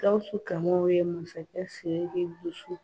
Gawsu Massakɛ Siriki muso